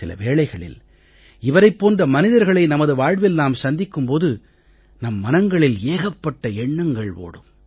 சில வேளைகளில் இவரைப் போன்ற மனிதர்களை நமது வாழ்வில் நாம் சந்திக்கும் போது நம் மனங்களில் ஏகப்பட்ட எண்ணங்கள் ஓடும்